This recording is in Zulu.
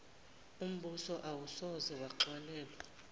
umbuso awusoze waxolelwa